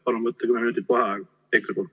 Palun võtta kümme minutit vaheaega!